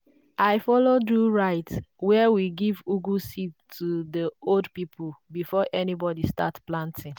i follow do rite where we give ugu seed to the old people before anybody start planting.